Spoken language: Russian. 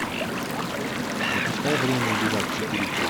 запускай время убивать четыре кей